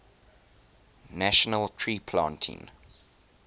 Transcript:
national tree planting